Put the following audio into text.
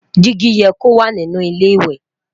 digi yẹ kó wà nínú ilé ìwé